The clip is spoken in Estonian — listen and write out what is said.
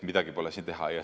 Midagi pole teha.